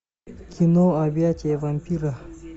кино объятия вампира